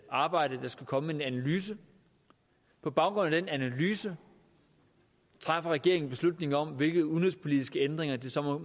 arbejde der skal komme med en analyse på baggrund af den analyse træffer regeringen en beslutning om hvilke udenrigspolitiske ændringer det så